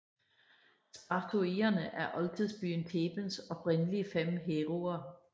Spartoierne er oldtidsbyen Thebens oprindelige fem heroer